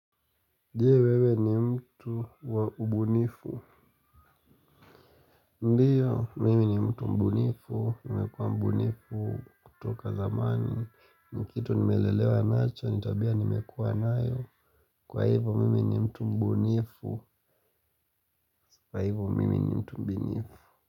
Jee wewe ni mtu wa ubunifu. Ndio, mimi ni mtu mbunifu nimekua mbunifu kutoka zamani. Ni kitu nimelelewa nacho, ni tabia nimekua nayo. Kwa hivo mimi ni mtu mbunifu. Kwa hivo mimi ni mtu mbunifu.